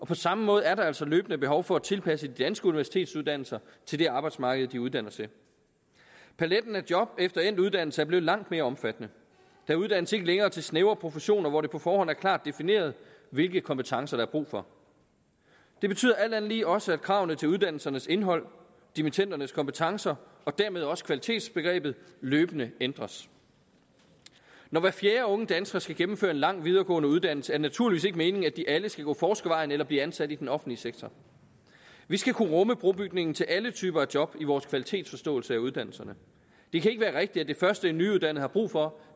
på samme måde er der altså løbende behov for at tilpasse de danske universitetsuddannelser til det arbejdsmarked de uddanner til paletten af job efter endt uddannelse er blevet langt mere omfattende der uddannes ikke længere til snævre professioner hvor det på forhånd er klart defineret hvilke kompetencer der er brug for det betyder alt andet lige også at kravene til uddannelsernes indhold dimittendernes kompetencer og dermed også kvalitetsbegrebet løbende ændres når hver fjerde unge dansker skal gennemføre en lang videregående uddannelse er det naturligvis ikke meningen at de alle skal gå forskervejen eller blive ansat i den offentlige sektor vi skal kunne rumme brobygningen til alle typer af job i vores kvalitetsforståelse af uddannelserne det kan ikke være rigtigt at det første en nyuddannet har brug for